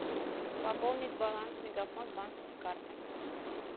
пополнить баланс мегафон с банковской карты